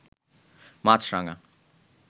মাছরাঙা